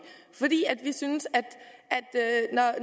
synes at